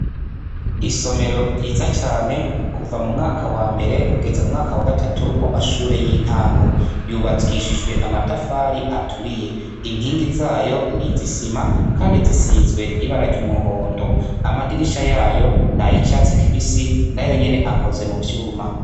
Isomero ryiza cane kuva mu mwaka wambere kugeze mu mwaka wa gatatu wamashure yintango yubakishijwe amatafari aturiye inkingi zayo nizisima kandi zisizwe ibara ryumuhondo amadirisha yayo nayicatsi kibisi nayonyene akoze muvyuma.